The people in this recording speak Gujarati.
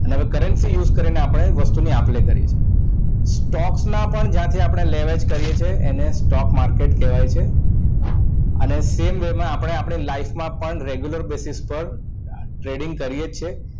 અને currency use કરીને આપણે વસ્તુની આપ લે કરીએ છીએ stocks માં પણ જ્યાંથી આપણે લે-વેચ કરીએ છીએ એને stock market કહેવાય છે અને same way આપને life માં પણ regular basis પર trading કરીએ જ છે